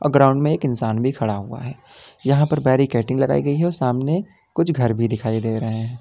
Ground में एक इंसान भी खड़ा हुआ है यहां पर बैरीकेडिंग लगाई गई है सामने कुछ घर भी दिखाई दे रहा है।